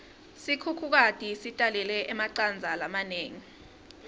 sikhukhukati sitalele emacandza lamanengi